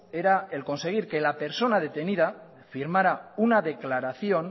era el conseguir que la persona detenida firmara una declaración